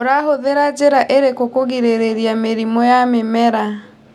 ũrahũthĩra njĩra irikũ kũgirĩrĩria mĩrimũ ya mĩmera.